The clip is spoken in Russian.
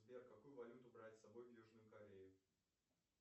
сбер какую валюту брать с собой в южную корею